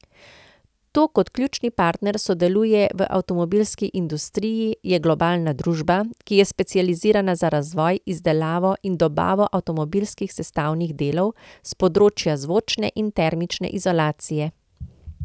To kot ključni partner sodeluje v avtomobilski industriji, je globalna družba, ki je specializirana za razvoj, izdelavo in dobavo avtomobilskih sestavnih delov s področja zvočne in termične izolacije.